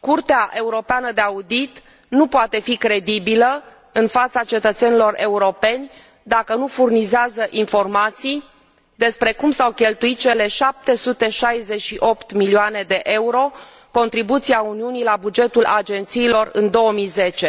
Curtea Europeană de Conturi nu poate fi credibilă în fața cetățenilor europeni, dacă nu furnizează informații despre cum s au cheltuit cele 768 de milioane de euro, contribuția Uniunii la bugetul agențiilor în 2010,